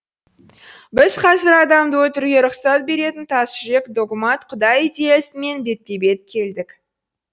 біз қазір адамды өлтіруге рұқсат беретін тас жүрек догмат құдай идеясымен бетпе бет келдік